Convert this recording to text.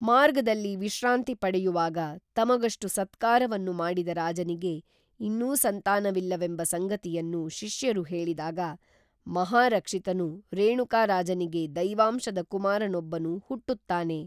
ಮಾರ್ಗದಲ್ಲಿ ವಿಶ್ರಾಂತಿ ಪಡೆಯುವಾಗ ತಮಗಷ್ಟು ಸತ್ಕಾರ ವನ್ನು ಮಾಡಿದ ರಾಜನಿಗೆ ಇನ್ನೂ ಸಂತಾನವಿಲ್ಲ ವೆಂಬ ಸಂಗತಿಯನ್ನು ಶಿಷ್ಯರು ಹೇಳಿದಾಗ ಮಹಾರಕ್ಷಿತನು ರೇಣುಕ ರಾಜನಿಗೆ ದೈವಾಂಶದ ಕುಮಾರನೊಬ್ಬನು ಹುಟ್ಟುತ್ತಾನೆ